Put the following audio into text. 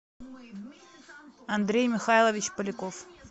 андрей михайлович поляков